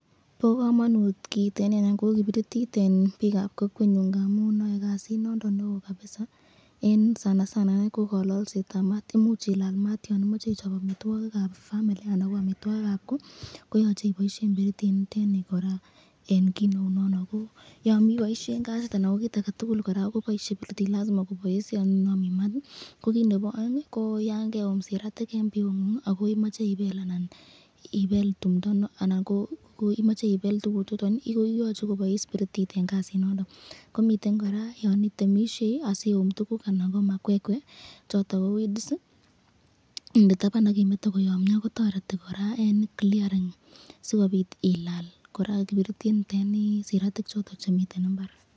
Bo kamanut kiiteni, noton ko biritit eng bikab kokwenyun amun ae kasit nondon neo, enge kalolsetab mat imuch imache ichob chito amitwakikab family ,kit nebo aeng ko yan keum siratik eng biut komache kebel koboisye biritit niton sikobit tililindo eng kotukul.